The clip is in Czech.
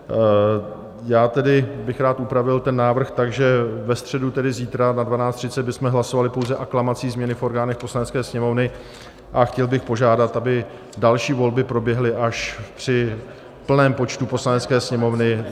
Já tedy bych rád upravil ten návrh tak, že ve středu, tedy zítra, ve 12.30 bychom hlasovali pouze aklamací změny v orgánech Poslanecké sněmovny, a chtěl bych požádat, aby další volby proběhly až při plném počtu Poslanecké sněmovny.